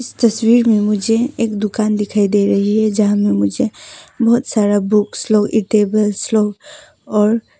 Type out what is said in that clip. इस तस्वीर में मुझे एक दुकान दिखाई दे रही है यहां में मुझे बहुत सारा बुक्स लोग ई टेबल्स लोग और--